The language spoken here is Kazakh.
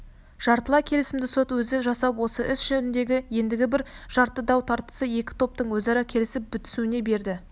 жартылай кесімді сот өзі жасап осы іс жөніндегі ендігі бір жарты дау-тартысты екі топтың өзара келісіп бітісуіне берді